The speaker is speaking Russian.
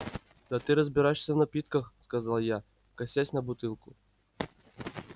да ты разбираешься в напитках сказал я косясь на бутылку